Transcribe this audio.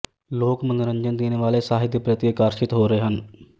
ਲੋਕ ਮਨੋਰੰਜਨ ਦੇਣ ਵਾਲੇ ਸਾਹਿਤ ਦੇ ਪ੍ਰਤੀ ਆਕਰਸ਼ਿਤ ਹੋ ਰਹੇ ਹਨ